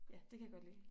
Ja det kan jeg godt lide